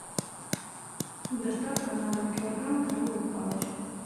доставка на дом килограмм крабовых палочек